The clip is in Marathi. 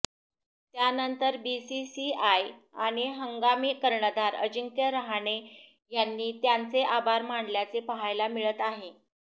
त्यानंतर बीसीसीआय आणि हंगामी कर्णधार अजिंक्य रहाणे यांनी त्यांचे आभार मानल्याचे पाहायला मिळत आहे